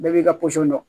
Bɛɛ b'i ka dɔn